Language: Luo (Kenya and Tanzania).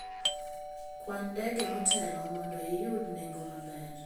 Kwan ndege motelo mondo iyud nengo maber.